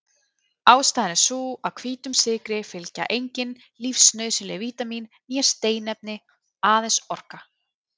Ástæðan er sú að hvítum sykri fylgja engin lífsnauðsynleg vítamín né steinefni- aðeins orka.